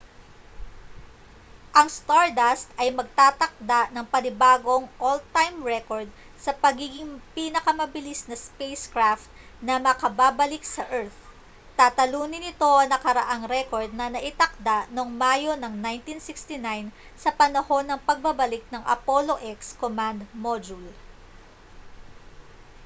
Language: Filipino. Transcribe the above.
ang stardust ay magtatakda ng panibagong all-time record sa pagiging pinakamabilis na spacecraft na makababalik sa earth tatalunin nito ang nakaraang record na naitakda noong mayo ng 1969 sa panahon ng pagbabalik ng apollo x command module